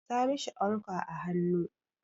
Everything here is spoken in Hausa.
Sa mishi ankwa a hannu!